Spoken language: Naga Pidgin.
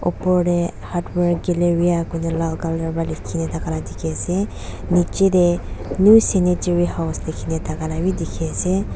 opor dae Hardware Galleria kona lal colour ba lekhe na thaka la dekhey ase nechi dae New Sanitary House lekhina thaka la bhi dekhey ase.